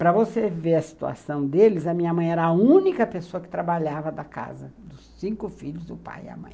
Para você ver a situação deles, a minha mãe era a única pessoa que trabalhava da casa dos cinco filhos, o pai e a mãe.